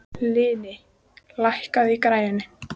Hlini, lækkaðu í græjunum.